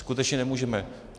Skutečně nemůžeme.